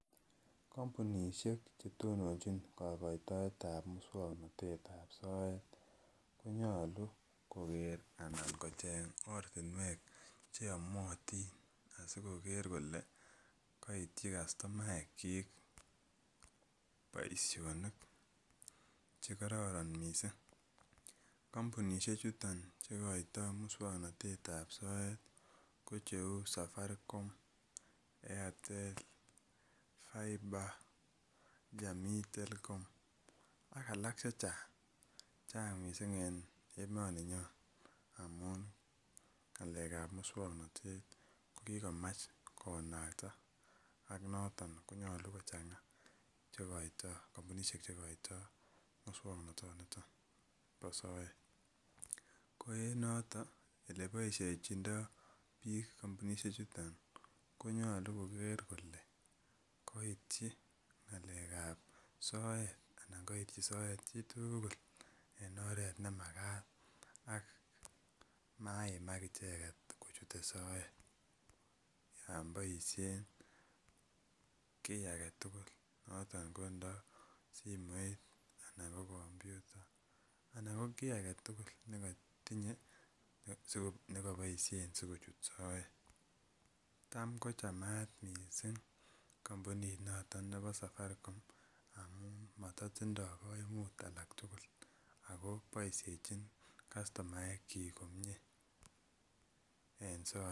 Kampunishek chetononjin kakoitoetab muswang'natetab soet konyolu koker anan kocheny ortinwek cheyomotin asikoket kole kaityi kastomoekchik boishonik chekororon mising' kampunishek chuto cheikoitoi muswang'natetab soet ko cheu safaricom airtel fibre jamii Telkom ak alak chechang' chang' mising' eng' emoninyo amun ng'alekab muswang'natet ko kikomach konakat ak noton konyolu ko chang'a kampunishek che koitoi muswong'nata niton bo soet ko en noto ole boishechidoi biik kampunishe chuton ko nyolu koker kole kaityi ng'alekab soet anan kaityi soet chitugul en oret nemakat ak maiimak icheget kochute soet yon boishen ki age tugul noton ko nda simoit anan ko komputa anan ko kii agetugul netinyei ak nekaboishen sikochut soet tam kochamat mising' kampunit nito nebo safaricom amun matatindoi kaimut alak tugul ako bishechin kastomaekchi komyee en soet